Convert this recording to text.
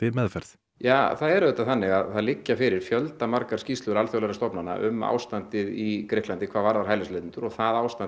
meðferð ja það er auðvitað þannig að það liggja fyrir fjöldi skýrsla alþjóðlegra stofnana um ástandið í Grikklandi hvað varðar hælisleitendur og það ástand